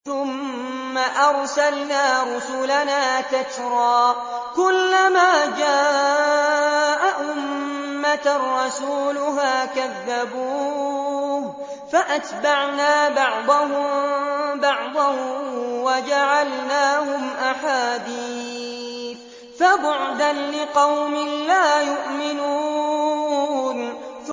ثُمَّ أَرْسَلْنَا رُسُلَنَا تَتْرَىٰ ۖ كُلَّ مَا جَاءَ أُمَّةً رَّسُولُهَا كَذَّبُوهُ ۚ فَأَتْبَعْنَا بَعْضَهُم بَعْضًا وَجَعَلْنَاهُمْ أَحَادِيثَ ۚ فَبُعْدًا لِّقَوْمٍ لَّا يُؤْمِنُونَ